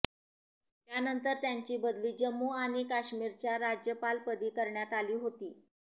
त्यानंतर त्यांची बदली जम्मू आणि काश्मीरच्या राज्यपालपदी करण्यात आली होती